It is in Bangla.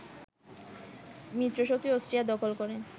মিত্রশক্তি অস্ট্রিয়া দখল করে